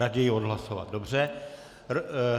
Raději odhlasovat, dobře.